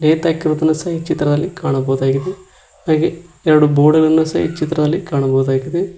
Gate ಹಾಕಿರೋ ಸಹ ಈ ಚಿತ್ರದಲ್ಲಿ ಕಾಣಬಹುದು ಹಾಗೆ ಎರಡು ಬೋರ್ಡ್ ಗಳನ್ನು ಸಹ ಈ ಚಿತ್ರದಲ್ಲಿ ಕಾಣಬಹುದಾಗಿದೆ.